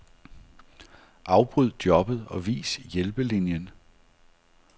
Afbryd jobbet og vis hjælpelinien.